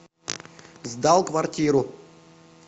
сдал квартиру